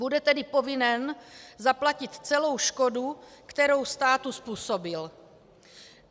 Bude tedy povinen zaplatit celou škodu, kterou státu způsobil.